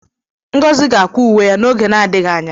Ngozi ga-akwa uwe ya n'oge na-adịghị anya.